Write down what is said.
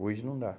Hoje não dá.